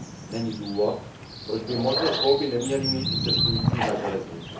Není důvod, proč by možnost volby neměli mít i cestující na železnici.